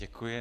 Děkuji.